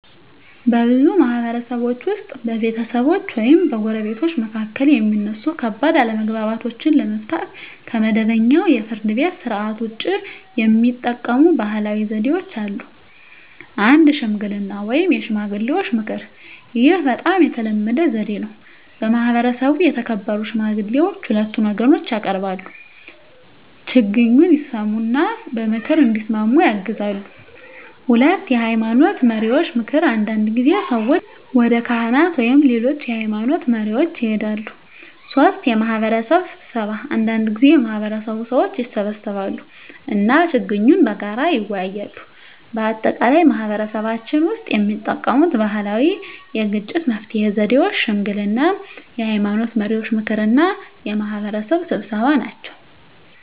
በብዙ ማህበረሰቦች ውስጥ በቤተሰቦች ወይም በጎረቤቶች መካከል የሚነሱ ከባድ አለመግባባቶችን ለመፍታት ከመደበኛው የፍርድ ቤት ሥርዓት ውጭ የሚጠቀሙ ባህላዊ ዘዴዎች አሉ። 1. ሽምግልና (የሽማግሌዎች ምክር) ይህ በጣም የተለመደ ዘዴ ነው። በማህበረሰቡ የተከበሩ ሽማግሌዎች ሁለቱን ወገኖች ያቀርባሉ፣ ችግኙን ይሰሙ እና በምክር እንዲስማሙ ያግዛሉ። 2. የሃይማኖት መሪዎች ምክር አንዳንድ ጊዜ ሰዎች ወደ ካህናት ወይም ሌሎች የሃይማኖት መሪዎች ይሄዳሉ። 3. የማህበረሰብ ስብሰባ አንዳንድ ጊዜ የማህበረሰቡ ሰዎች ይሰበሰባሉ እና ችግኙን በጋራ ይወያያሉ። በአጠቃላይ በማህበረሰባችን ውስጥ የሚጠቀሙት ባህላዊ የግጭት መፍትሄ ዘዴዎች ሽምግልና፣ የሃይማኖት መሪዎች ምክር እና የማህበረሰብ ስብሰባ ናቸው።